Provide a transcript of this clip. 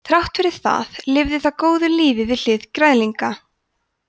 þrátt fyrir það lifir það góðu lífi við hlið græðlinga